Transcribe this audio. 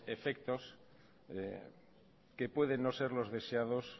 efectos que pueden no ser los deseados